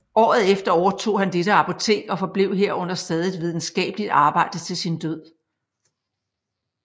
Året efter overtog han dette apotek og forblev her under stadigt videnskabeligt arbejde til sin død